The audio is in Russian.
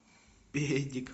педик